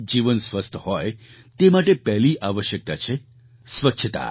જીવન સ્વસ્થ હોય તે માટે પહેલી આવશ્યકતા છે સ્વચ્છતા